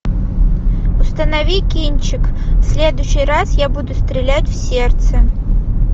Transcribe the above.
установи кинчик в следующий раз я буду стрелять в сердце